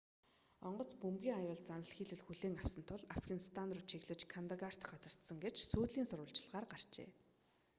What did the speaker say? онгоц бөмбөгийн аюул заналхийлэл хүлээн авсан тул афганистан руу чиглэж кандагарт газардсан гэж сүүлийн сурвалжилгаар гарчээ